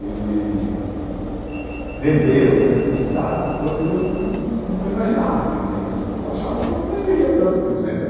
Ele vendeu dentro da cidade coisa que eu num num imaginava que ele venderia assim, que eu achava que não venderia tanto, pois vendeu.